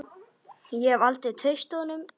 Ég hef aldrei treyst honum.